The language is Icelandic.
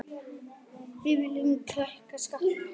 Við viljum lækka skatta.